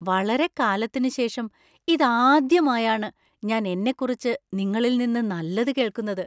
വളരെക്കാലത്തിനുശേഷം ഇതാദ്യമായാണ് ഞാൻ എന്നെക്കുറിച്ച് നിങ്ങളിൽ നിന്ന് നല്ലത് കേൾക്കുന്നത്.